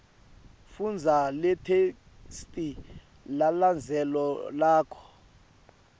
fundza letheksthi lelandzelako